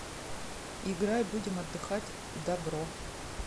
играй будем отдыхать дабро